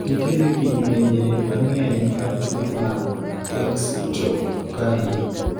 nitiere kidienje mang'eny mar tuo mar dextrocardia